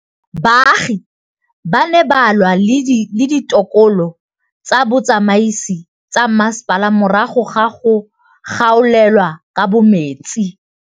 Baagi ba ne ba lwa le ditokolo tsa botsamaisi ba mmasepala morago ga go gaolelwa kabo metsi